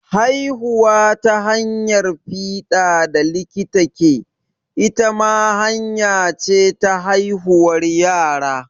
Haihuwa ta hanyar fiɗa da likita ke, ita ma hanya ce ta haihuwar yara.